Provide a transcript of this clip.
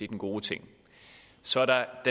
den gode ting så er der